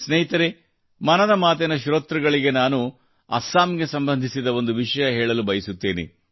ಸ್ನೇಹಿತರೇ ಮನದ ಮಾತಿನ ಶ್ರೋತೃಗಳಿಗೆ ನಾನು ಅಸ್ಸಾಂಗೆ ಸಂಬಂಧಿಸಿದ ಒಂದು ವಿಷಯ ಹೇಳಲು ಬಯಸುತ್ತೇನೆ